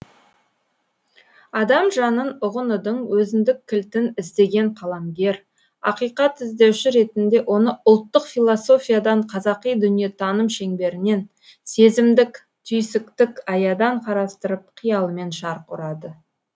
адам жанын ұғынудың өзіндік кілтін іздеген қаламгер ақиқат іздеуші ретінде оны ұлттық философиядан қазақи дүниетаным шеңберінен сезімдік түйсіктік аядан қарастырып қиялымен шарқ ұрады